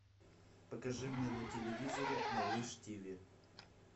покажи мне на телевизоре малыш тиви